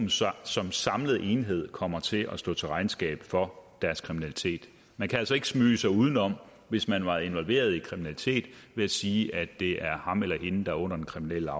som samlet enhed kommer til at stå til regnskab for deres kriminalitet man kan altså ikke smyge sig udenom hvis man har været involveret i kriminalitet ved at sige at det er ham eller hende der er under den kriminelle